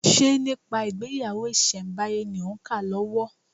Ṣe nípa ìgbéyàwó ìsẹ̀ǹbáyé ni òń kà lọ́wọ́?